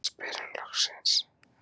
spyr hann loksins.